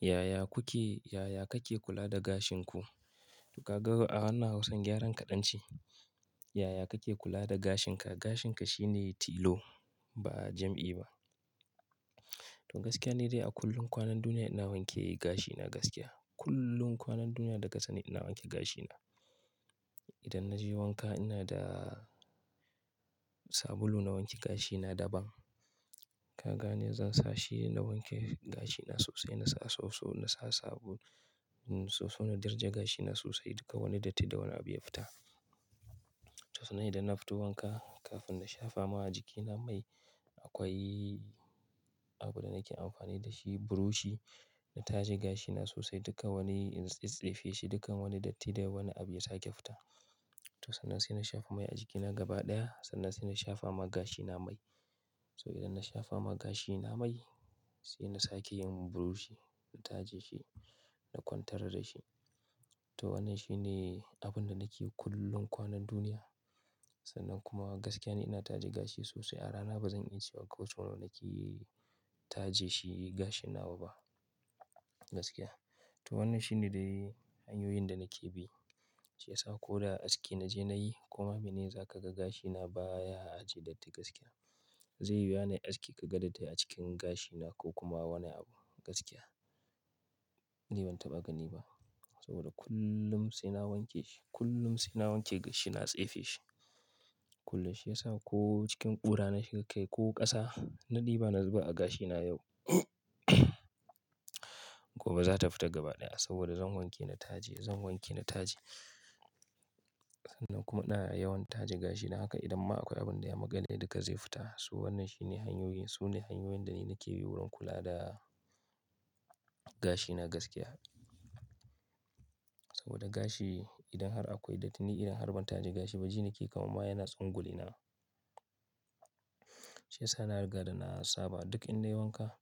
Yaya kuke, yaya kake kula da gashinku? To kaga a wannan hausa gyaran kaɗan ce. Yaya kake kula da gashinka? Gashinka shine tilo ba jam'i ba. To gaskiya ne dai a kullum kwanan duniya ina wanke gashina gaskiya. Kullum kwanan duniya daka sani ina wanke gashina. Idan na je wanka ina da sabulu na wanke gashina daban. Kaga ne zan sa shi na wanke gashina sosai, na sa soso, na sa sabulu. Soso na darja gashina sosai duka wani dattii da wani abu ya fita. To sannan idan na fito wanka kafin na shafa ma jikina mai akwai abunda nake amfani da shi buroshi na taje gashina sosai duka wani in tsifshe shi dukan wani dattii da wani abu ya sake fita. To sannan sai na shafa mai a jikina gaba ɗaya sannan sai na shafa ma gashina mai. To idan na shafa ma gashina mai sai na sake yin buroshi na taje shi na kwantar da shi. To wannan shine abunda nake yi kullum kwanan duniya. Sannan kuma gaskiya ne ina taje gashi sosai. A rana ba zan iya cewa ko tun ina na kiyi taje shi gashina ba ba gaskiya. To wannan shine dai hanyoyin da nake bi. Shi yasa ko da aski na je na yi kuma mene za ka ga gashina baya aji dattii gaskiya. Zai yi wuya nai aske ka ga dattii a cikin gashina ko kuma wani abu gaskiya. Ni ban taɓa gani ba saboda kullum sai na wanke shi, kullum sai na wanke gashi na tsefe shi. Kulla shi yasa ko cikin ƙura na shiga kai ko ƙasa na ɗiba, na zuba a gashina yau gobe za ta fita gaba ɗaya saboda zan wanke na taje, zan wanke na taje. Sannan kuma ina yawan taje gashina haka idan ma akwai abunda ya maganɗe duka zai fita. So wannan shine hanyoyin, su ne hanyoyin da ni nake bi wurin kula da gashina gaskiya. Saboda gashi idan har akwai dattii ni idan har ban taje gashi ba jini ke kama mana yana tsanguli na. Shi yasa na riga da na saba duk in na yi wanka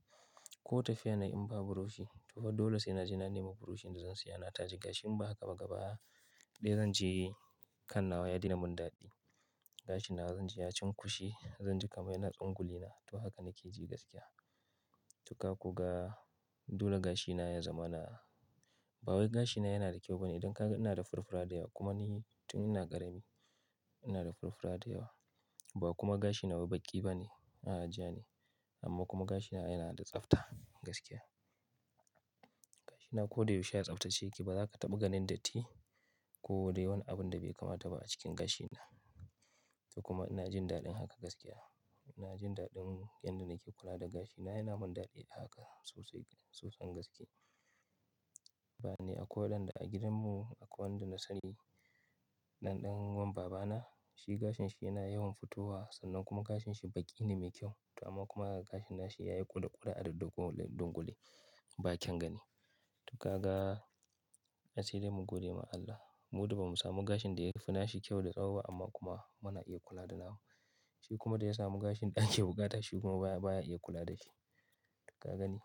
ko tafiya na in ba buroshi to fa dole sai na je na nema buroshin da zan siya na taje gashin ba haka ba gaba ɗaya zan je kan nawa ya daina mun daɗi. Gashina zan ji ya cunkushe, zan ji kama yana tsanguli na. To haka nake ji gaskiya. Dukka kuka ga dole gashina ya zama na, bawai gashina yana da kyau bane idan ka, ina da furfura da yawa kuma ni tun ina ƙarami ina da furfura da yawa. Ba kuma gashina wai baƙi bane a ajiya ne amma kuma gashina yana da tsafta gaskiya. Gashina ko dai yaushe ya tsaftace ki ba za ka taɓa ganin dattii ko dai wani abunda bai kamata ba a cikin gashina. To kuma ina jin daɗin haka gaskiya. Ina jin daɗin yanda nake kula da gashina yana mun daɗi da haka sosai, sosai gaske. Ba ne akwai wanda a gidanmu akwai wanda na sani ɗanɗanon babana shi gashin shi yana yawan fitowa sannan kuma gashin shi baƙi ne mai kyau. To amma kuma gashin nashi yayi ƙure ƙure a duk dungule dungule ba kyan gani. Dukka ka ga asiri mun gode ma Allah. Mu ba mu samu gashin da ya fi nashi kyau da tsawo ba amma kuma muna iya kula da nashi. Shi kuma da ya samu gashin da yake bukata shi kuma baya baya iya kula da shi. Dukka ka gani.